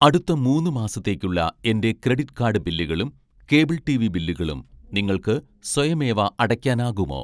അടുത്ത മൂന്ന് മാസത്തേക്കുള്ള എൻ്റെ ക്രെഡിറ്റ് കാർഡ് ബില്ലുകളും കേബിൾ ടിവി ബില്ലുകളും നിങ്ങൾക്ക് സ്വയമേവ അടയ്ക്കാനാകുമോ